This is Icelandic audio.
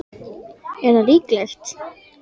Er það líklegt?